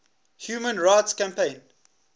human rights campaign